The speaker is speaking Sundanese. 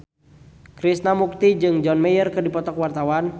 Krishna Mukti jeung John Mayer keur dipoto ku wartawan